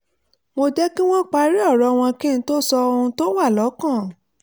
mo jẹ́ kí wọ́n parí ọ̀rọ̀ wọn kí n tó sọ ohun tó wà lọ́kàn